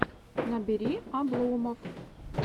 набери обломофф